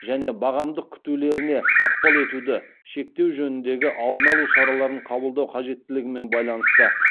және бағамдық күтулеріне ықпал етуді шектеу жөніндегі алдын алу шараларын қабылдау қажеттілігімен байланысты